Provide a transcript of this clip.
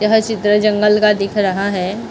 यह चित्र जंगल का दिख रहा है।